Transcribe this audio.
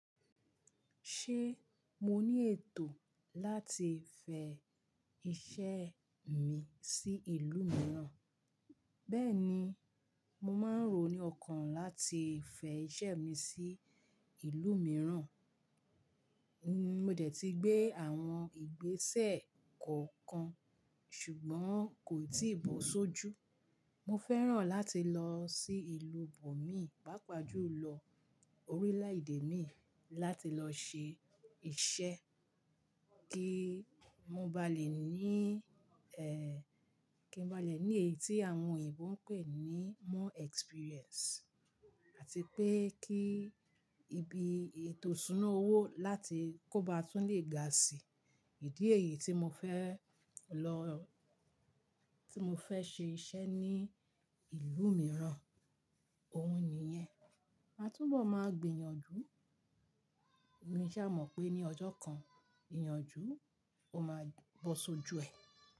Ṣé mo ní ètò láti fẹ iṣẹ́ mi sí ìlú mìíràn? Bẹ́ẹ̀ni, mo máa ń ro ní ọkàn láti fẹ iṣẹ́ mi sí ìlú mìíràn. Mo dẹ̀ ti gbé àwọn ìgbésẹ̀ kọ̀ kan ṣùgbọ́n kò tíì bó sójú. Mo fẹ́ràn láti lọ sí ìlú bòmí pàápàá jù lọ orílẹ̀ èdè mi láti lọ ṣe iṣẹ́ kí mo ba lè ní ẹ́, kí n ba lè ní èyí tí àwọn òyìnbó ń pè ní more experience àti pé kí ibi ètò súná owó láti kó ba tún lè ga si. Ìdí èyí tí mo fẹ lọ, tí mo fẹ ṣe iṣẹ́ ní ìlú mìíràn, òun nìyẹn. A túbọ̀ máa gbìyànjú, òní ṣá mọ̀ pé ní ọjọ́ kan, ìyànjú o máa bó sójú ẹ.